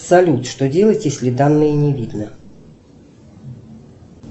салют что делать если данные не видно